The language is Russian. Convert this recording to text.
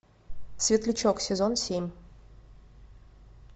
светлячок сезон семь